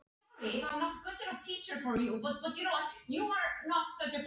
Heldur stundum að þú hafir fundið.